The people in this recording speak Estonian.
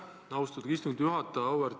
Aitäh, austatud istungi juhataja!